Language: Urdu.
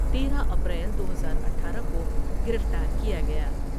تیرہ اپریل دو ہزاار اٹھارہ کوگرفتار کیا گیا ۔